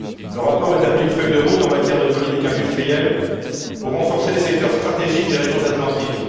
Le rapport établit une feuille de route en matière de politique industrielle pour renforcer les secteurs stratégiques des régions atlantiques.